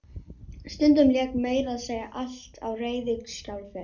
Stundum lék meira að segja allt á reiðiskjálfi.